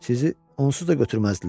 Sizi onsuz da götürməzdilər.